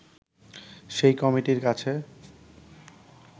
সেই কমিটির কাছে